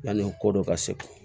Yani o ko dɔ ka se